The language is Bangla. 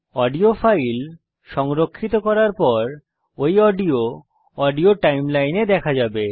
অডিও ফাইল সংরক্ষিত করার পর ঐ অডিও অডিও সময় রেখায় দেখা যাবে